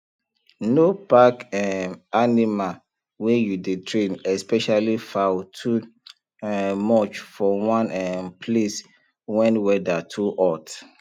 no pack um animal wey you dey train especially fowl too um much for one um place wen weather too hot